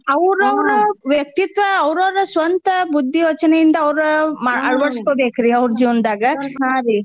ಔರೌರ ವ್ಯಕ್ತಿತ್ವ ಔರೌರ ಸ್ವಂತ ಬುದ್ದಿ ಯೋಚ್ನೇ ಇಂದ ಅವ್ರ ಮ ಅಳ್ವಡಸ್ಕೋಬೇಕ್ರೀ ಅವ್ರ ಜೀವನ್ದಾಗ .